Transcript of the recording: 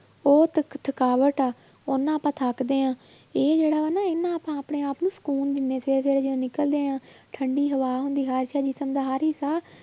ਉਹ ਥਕ~ ਥਕਾਵਟ ਆ ਉਹਦੇ ਨਾਲ ਆਪਾਂ ਥੱਕਦੇ ਹਾਂ ਇਹ ਜਿਹੜਾ ਵਾ ਨਾ ਇਹਦੇ ਨਾਲ ਆਪਾਂ ਆਪਣੇ ਆਪ ਨੂੰ ਸ਼ਕੂਨ ਦਿੰਦੇ ਹਾਂ ਸਵੇਰੇ ਸਵੇਰੇ ਜਦੋੋਂ ਨਿਕਲਦੇ ਹਾਂ ਠੰਢੀ ਹਵਾ ਹੁੰਦੀ ਜਿਸ਼ਮ ਦਾ ਹਰ ਹਿੱਸਾ